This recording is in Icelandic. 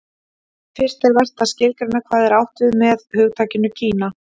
fyrst er vert að skilgreina hvað átt er við með hugtakinu kína